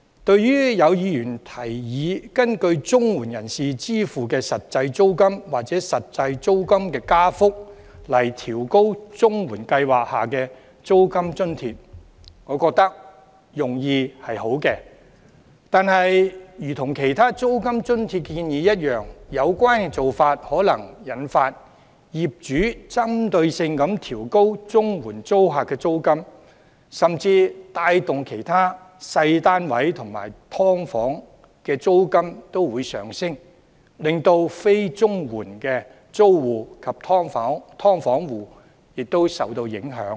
對於有議員建議根據綜援人士支付的實際租金或實際租金加幅來調高綜援計劃下的租金津貼，我覺得用意良好，但如同其他租金津貼建議一樣，有關做法可能會引發業主針對性地調高綜援租客的租金，甚至帶動其他小型單位及"劏房"的租金上升，令非綜援租戶及"劏房戶"亦受到影響。